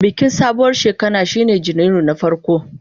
Bikin sabuwar shekara shine kowane Janairu na farko.